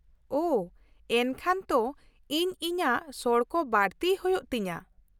ᱼᱳᱦᱚ, ᱮᱱᱠᱷᱟᱱ ᱛᱚ ᱤᱧ ᱤᱧᱟᱹᱜ ᱥᱚᱲᱠᱚ ᱵᱟᱹᱲᱛᱤᱭ ᱦᱩᱭᱩᱜ ᱛᱤᱧᱟᱹ ᱾